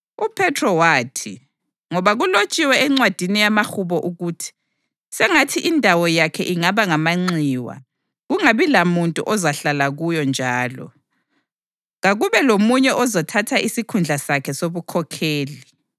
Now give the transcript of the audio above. UPhethro wathi, “Ngoba kulotshiwe encwadini yamaHubo ukuthi: ‘Sengathi indawo yakhe ingaba ngamanxiwa; kungabi lamuntu ozahlala kuyo,’ + 1.20 AmaHubo 69.25 njalo, ‘Kakube lomunye ozathatha isikhundla sakhe sobukhokheli.’ + 1.20 AmaHubo 109.8